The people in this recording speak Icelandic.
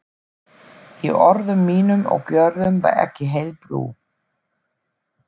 Í orðum mínum og gjörðum var ekki heil brú.